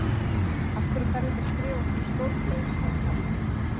Af hverju ferðu ekki að skrifa fyrir stórblöðin? sagði Karl.